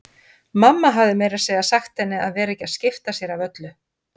Mamma hafði meira að segja sagt henni að vera ekki að skipta sér af öllu.